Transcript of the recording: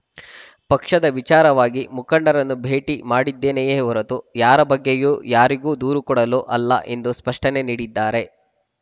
ಪಕ್ಷದ ವಿಚಾರವಾಗಿ ಮುಖಂಡರನ್ನು ಭೇಟಿ ಮಾಡಿದ್ದೇನೆಯೇ ಹೊರತು ಯಾರ ಬಗ್ಗೆಯೂ ಯಾರಿಗೂ ದೂರು ಕೊಡಲು ಅಲ್ಲ ಎಂದು ಸ್ಪಷ್ಟನೆ ನೀಡಿದ್ದಾರೆ